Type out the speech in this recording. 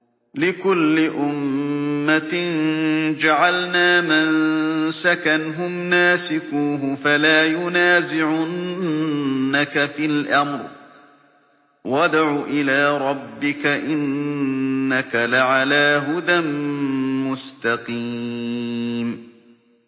لِّكُلِّ أُمَّةٍ جَعَلْنَا مَنسَكًا هُمْ نَاسِكُوهُ ۖ فَلَا يُنَازِعُنَّكَ فِي الْأَمْرِ ۚ وَادْعُ إِلَىٰ رَبِّكَ ۖ إِنَّكَ لَعَلَىٰ هُدًى مُّسْتَقِيمٍ